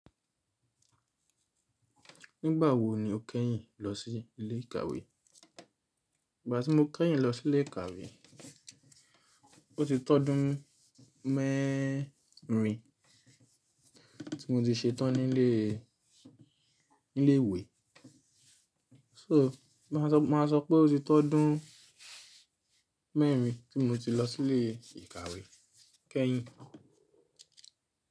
Nígbà wo ni o kẹ́yìn lọ sí ilé ìkàwé? Ìgbà tí mo kẹ́yìn lọ sí ilé ìkàwé, ó ti to ọ́dún mẹ́rin tí mo ti ṣe tán ní ilé, ní ilé ìwé. So máa sọ pé ó ti to ọ́dún mẹ́rin tí mo ti lọ sí ilé ìkàwé kẹ́yìn.